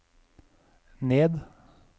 ned